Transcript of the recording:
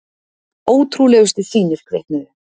Ótrúlegustu sýnir kviknuðu.